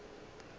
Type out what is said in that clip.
le yena e be e